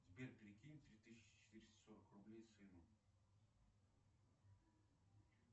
сбер перекинь три тысячи четыреста сорок рублей сыну